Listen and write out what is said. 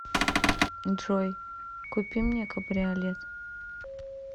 джой купи мне кабриолет